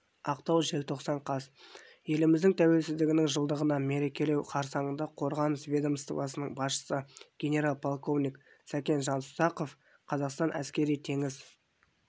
ақтау желтоқсан қаз еліміздің тәуелсіздігінің жылдығын мерекелеу қарсаңында қорғаныс ведомствосының басшысы генерал-полковник сәкен жасұзақов қазақстан әскери-теңіз